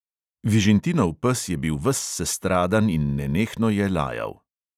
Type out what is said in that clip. Vižintinov pes je bil ves sestradan in nenehno je lajal.